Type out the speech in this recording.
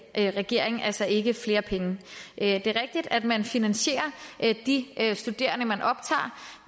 her regering altså ikke flere penge det er rigtigt at man finansierer de studerende man optager